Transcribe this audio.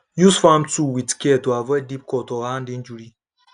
use farm tool with care to avoid deep cut or hand injury